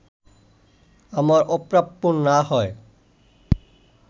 আমার অপ্রাপ্য না হয়